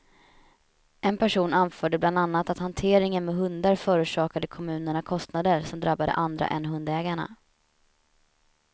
En person anförde bland annat att hanteringen med hundar förorsakade kommunerna kostnader som drabbade andra än hundägarna.